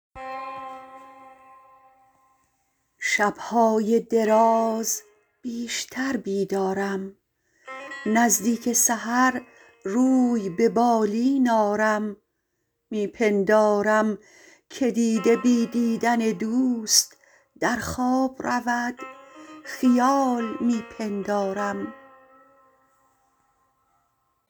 شبهای دراز بیشتر بیدارم نزدیک سحر روی به بالین آرم می پندارم که دیده بی دیدن دوست در خواب رود خیال می پندارم